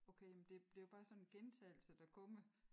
Okay men det det jo bare sådan en gentagelse der kommer